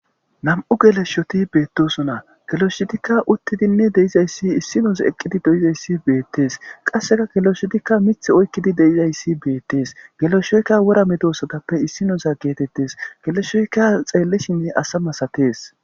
nam7u geleshshoti beettosona geloshodikka uttidinne deizayssi issinoos eqqidi de7izayssi beettes qasseka geloshidikka mith oykkidi deizayssi beettes geloshoykka wora medossatappe issinosa geetettes geleshoyka xeelleshinne asa masatees